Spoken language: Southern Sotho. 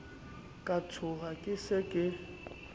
ka tshoha ke se ke